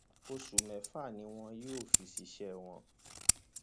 oṣù mẹfà ni wọn yóò fi ṣiṣẹ wọn